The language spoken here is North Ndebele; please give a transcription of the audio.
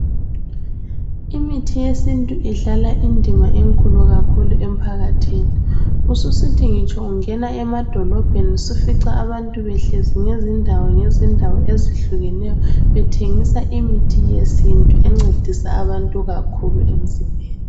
Imithi yesintu idlala indima enkulu kakhulu emphakathini. Ususithi ngitsho ungena emadolobheni sufica abantu behlezi ngezindawo ngezindawo ezihlukeneyo bethengisa imithi yesintu encedisa abantu kakhulu emzimbeni.